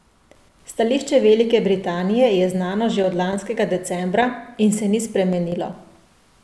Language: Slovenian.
Stališče Velike Britanije je znano že od lanskega decembra in se ni spremenilo.